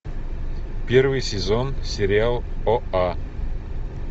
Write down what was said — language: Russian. первый сезон сериал оа